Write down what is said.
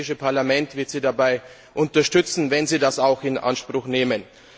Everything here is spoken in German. Das Europäische Parlament wird Sie dabei unterstützen, wenn Sie das auch in Anspruch nehmen.